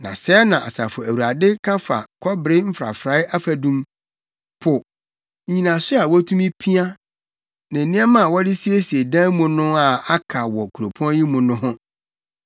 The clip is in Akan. Na sɛɛ na Asafo Awurade ka fa kɔbere mfrafrae afadum, po, nnyinaso a wotumi pia ne nneɛma a wɔde siesie dan mu no a aka wɔ kuropɔn yi mu no ho.